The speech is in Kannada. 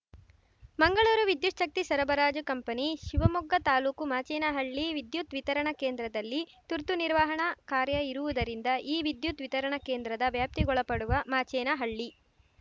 ಮಂಗಳೂರು ವಿದ್ಯುಚ್ಫಕ್ತಿ ಸರಬರಾಜು ಕಂಪನಿ ಶಿವಮೊಗ್ಗ ತಾಲೂಕು ಮಾಚೇನಹಳ್ಳಿ ವಿದ್ಯುತ್‌ ವಿತರಣಾ ಕೇಂದ್ರದಲ್ಲಿ ತುರ್ತು ನಿರ್ವಹಣಾ ಕಾರ್ಯ ಇರುವುದರಿಂದ ಈ ವಿದ್ಯುತ್‌ ವಿತರಣಾ ಕೇಂದ್ರದ ವ್ಯಾಪ್ತಿಗೊಳಪಡುವ ಮಾಚೇನಹಳ್ಳಿ